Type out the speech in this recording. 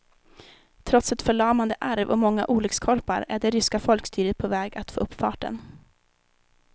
Trots ett förlamande arv och många olyckskorpar är det ryska folkstyret på väg att få upp farten.